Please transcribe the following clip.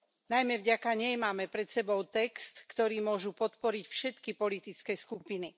Najmä vďaka nej máme pred sebou text, ktorý môžu podporiť všetky politické skupiny.